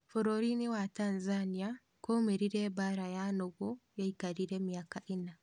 Bũrũrinĩ wa Tanzania kwaumĩrire mbara ya nũgũ yaikarire miaka ĩna